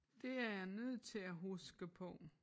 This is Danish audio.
Det er jeg nødt til at huske på